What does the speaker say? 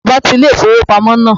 Bàbá ti ilé-ìfowópamọ́ náà